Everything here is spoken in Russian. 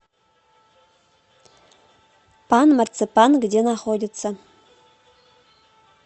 пан марципанъ где находится